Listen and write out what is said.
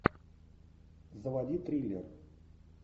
заводи триллер